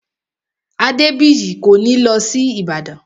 Adébìyí kò ní lọ sí Ìbàdàn